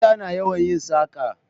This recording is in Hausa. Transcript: Mata na yawan yin saƙa